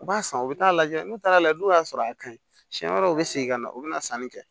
U b'a san u bɛ taa'a lajɛ n'u taara lajɛ n'u y'a sɔrɔ a ka ɲi siɲɛ wɛrɛ u bɛ segin ka na u bɛna sanni kɛ